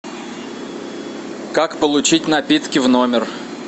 как получить напитки в номер